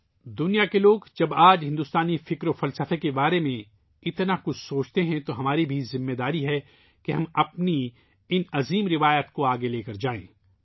جب دنیا کے لوگ آج ہندوستانی روحانیت اور فلسفے کے بارے میں بہت زیادہ سوچتے ہیں ، تب ہماری بھی ذمہ داری ہے کہ ہم ان عظیم روایات کو آگے بڑھائیں